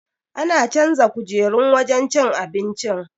An canza kujerun wajen cin abincin.